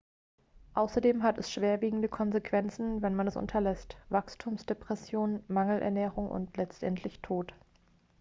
außerdem hat es schwerwiegende konsequenzen wenn man es unterlässt wachstumsdepression mangelernährung und letztendlich tod